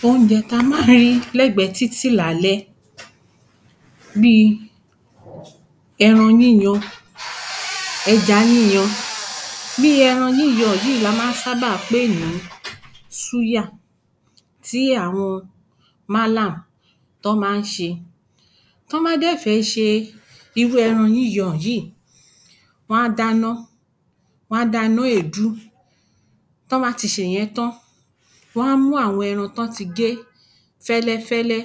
﻿OÚNJẸ TÍ A MÁA Ń RÍ LẸ́GBẸ̀Ẹ́ TÍTÌ LÁLẸ́ BÍI ẸRAN YÍYAN, ẸJA YÍYAN BÍ Ẹran yíyan yìí la máa ń sáábà pè ní súyà tí àwọn Mọ́là to máa ń ṣe. Tí wọ́n bá sì fẹ́ẹ́ ṣe irú ẹran yíyan yìí, wọn á dáná wọn á dáná èèdú. Tí wọ́n bá ti ṣe ìyẹn tán, wọn á mú àwọn ẹran tí wọ́n ti gé fẹ́lẹ́fẹ́lẹ́,